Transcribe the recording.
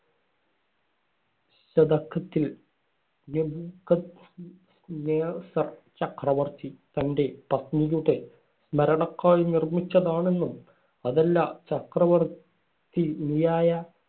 ശതകത്തിൽ നെബൂഖദ്നേസർ ചക്രവർത്തി തന്‍റെ പത്നിയുടെ സ്മരണയ്ക്കായി നിർമിച്ചതാണെന്നും അതല്ല ചക്രവർത്തി നിയായ